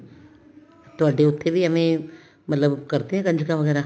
ਤੁਹਾਡੇ ਉੱਥੇ ਵੀ ਏਵੇਂ ਕਰਦੇ ਆ ਕੰਜਕਾਂ ਵਗੈਰਾ